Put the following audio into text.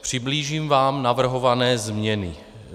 Přiblížím vám navrhované změny.